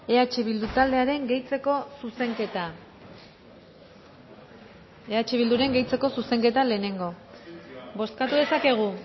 eh bildu taldearen gehitzeko zuzenketa eh bilduren gehitzeko zuzenketa lehenengo bozkatu dezakegu